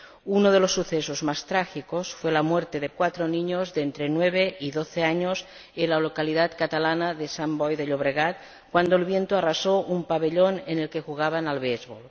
Uno de los sucesos más trágicos fue la muerte de cuatro niños, de entre nueve y doce años, en la localidad catalana de Sant Boi de Llobregat, cuando el viento arrasó un pabellón en el que jugaban al béisbol.